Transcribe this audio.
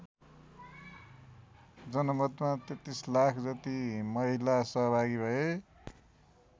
जनमतमा ३३ लाख जति महिला सहभागि भए।